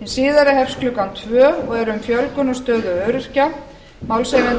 hin síðari hefst klukkan tvö og er um fjölgun á stöðu öryrkja málshefjandi er